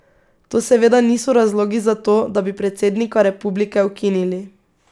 To seveda niso razlogi za to, da bi predsednika republike ukinili.